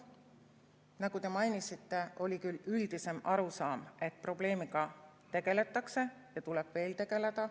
Nagu te mainisite, oli küll üldisem arusaam, et probleemiga tegeldakse ja tuleb veel tegelda.